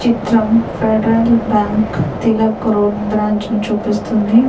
చిత్రం Federal Bank Tilak road branch ను చూపిస్తుంది.